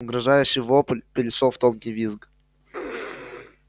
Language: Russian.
угрожающий вопль перешёл в тонкий визг